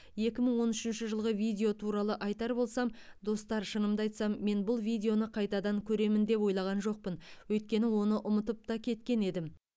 екі мың он үшінші жылғы видео туралы айтар болсам достар шынымды айтсам мен бұл видеоны қайтадан көремін деп ойлаған жоқпын өйткені оны ұмытып та кеткен едім